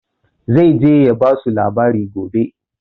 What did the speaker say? Zai je ya basu labari gobe